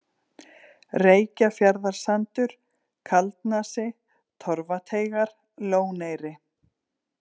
Reykjarfjarðarsandur, Kaldnasi, Torfateigar, Lóneyri